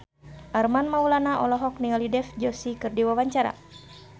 Armand Maulana olohok ningali Dev Joshi keur diwawancara